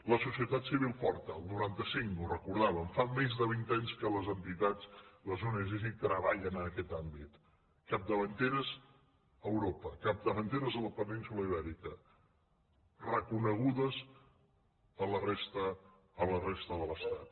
la societat civil forta el noranta cinc ho recordàvem fa més de vint anys que les entitats les ong treballen en aquest àmbit capdavanteres a europa capdavanteres a la península ibèrica reconegudes a la resta de l’estat